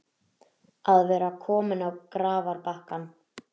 Að vera kominn á grafarbakkann